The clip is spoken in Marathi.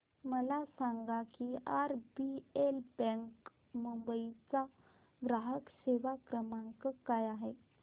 मला सांगा की आरबीएल बँक मुंबई चा ग्राहक सेवा क्रमांक काय आहे